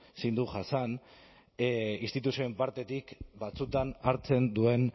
ezin du jasan instituzioen partetik batzuetan hartzen duen